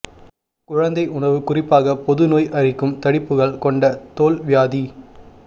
குழந்தை உணவு குறிப்பாக போது நோய் அரிக்கும் தடிப்புகள் கொண்ட தோல் வியாதி